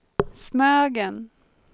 Smögen